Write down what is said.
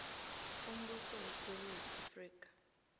umbuso wesewula afrika